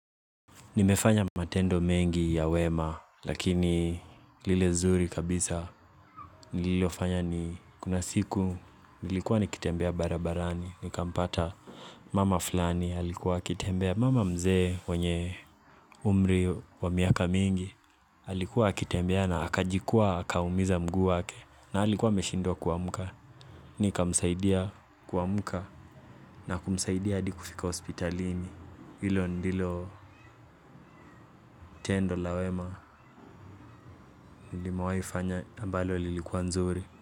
Nimefanya matendo mengi ya wema lakini lile nzuri kabisa nililofanya ni kuna siku nilikuwa nikitembea barabarani. Nikampata mama fulani alikuwa akitembea mama mzee wenye umri wa miaka mingi alikuwa akitembea na akajikwaa akaumiza mguu wake na alikuwa ameshindwa kuamka. Nikamsaidia kuamka na kumsaidia hadi kufika hospitalini hilo ndilo tendo la wema nimewahi fanya ambalo lilikuwa nzuri.